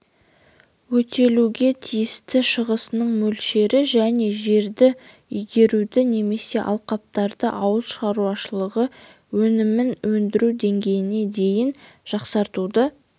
өтелуге тиісті шығасының мөлшері жаңа жерді игеруді немесе алқаптарды ауыл шаруашылығы өнімін өндіру деңгейіне дейін жақсартуды